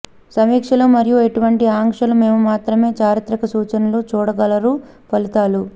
సమీక్షలు మరియు ఇటువంటి ఆంక్షలు మేము మాత్రమే చారిత్రక సూచనలు చూడగలరు ఫలితాలు